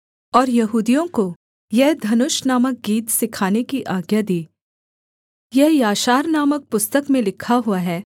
और यहूदियों को यह धनुष नामक गीत सिखाने की आज्ञा दी यह याशार नामक पुस्तक में लिखा हुआ है